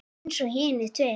Eins og hinir tveir.